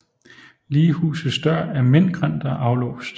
Lighusets dør er mintgrøn og aflåst